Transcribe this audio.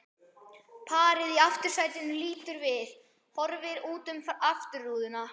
Parið í aftursætinu lítur við, horfir út um afturrúðuna.